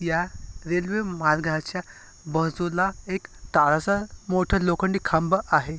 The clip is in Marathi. या रेल्वे मार्गाच्या बाजूला एक काळासा मोठा लोखंडी खांब आहे.